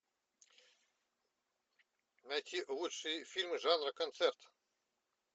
найти лучшие фильмы жанра концерт